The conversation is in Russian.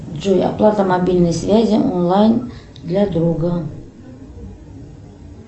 джой оплата мобильной связи онлайн для друга